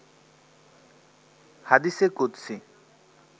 হাদিসে কুদসি